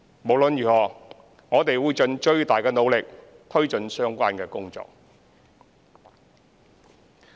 無論如何，我們會盡最大努力推進相關工作。